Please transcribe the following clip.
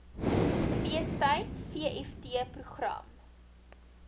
feestyd vft program